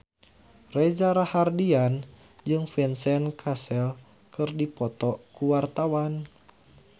Reza Rahardian jeung Vincent Cassel keur dipoto ku wartawan